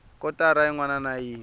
kotara yin wana na yin